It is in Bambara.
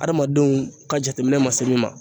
Adamadenw ka jateminɛ ma se min ma